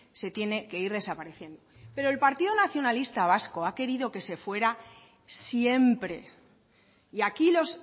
se tiene que ir desapareciendo pero el partido nacionalista vasco ha querido que se fuera siempre y aquí los